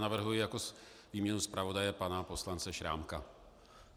Navrhuji jako výměnu zpravodaje pana poslance Šrámka.